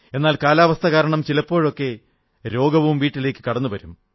എന്നാൽ കാലാവസ്ഥ കാരണം ചിലപ്പോഴൊക്കെ രോഗവും വീട്ടിലേക്കു കടന്നുവരും